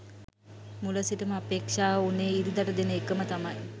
මුල සිටම අපේක්ෂාව වුනේ ඉරිදට දෙන එකම තමයි.